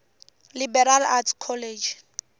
liberal arts college